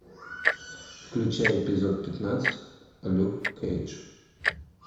включай эпизод пятнадцать люк кейдж